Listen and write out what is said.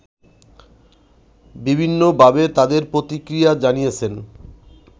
বিভিন্নভাবে তাদের প্রতিক্রিয়া জানিয়েছেন